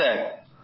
হ্যাঁ স্যার